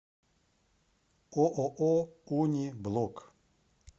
ооо уни блок